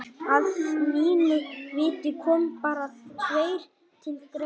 Að mínu viti koma bara tveir til greina.